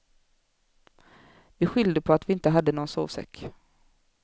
Vi skyllde på att vi inte hade någon sovsäck.